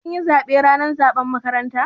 Kin yi zaɓe ranar zaɓen makaranta?